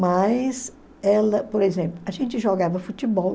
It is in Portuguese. Mas ela, por exemplo, a gente jogava futebol.